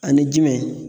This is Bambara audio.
Ani jumɛn